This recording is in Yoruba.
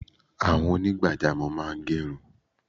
Àwọn onigbajamo máa ń gerun